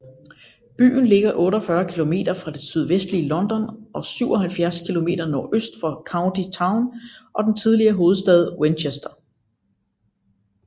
Byen ligger 48 km fra det sydvestlige London og 77 km nordøst for county town og den tidligere hovedstad Winchester